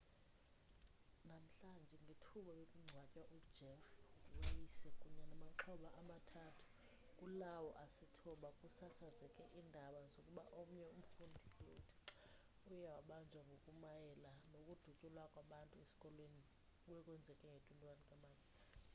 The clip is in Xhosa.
namhlanje ngethuba bekungcwatywa ujeff weise kunye namaxhoba amathathu kulawo asithoba kusasazeke iindaba zokuba omnye umfundi uye wabanjwa ngokumayela nokudutyulwa kwabantu esikolweni obekwenzeke nge-21 matshi